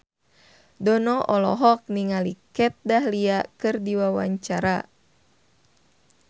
Dono olohok ningali Kat Dahlia keur diwawancara